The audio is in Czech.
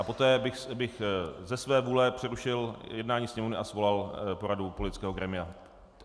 A poté bych ze své vůle přerušil jednání Sněmovny a svolal poradu politického grémia.